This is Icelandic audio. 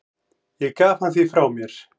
Ég gaf hann því frá mér.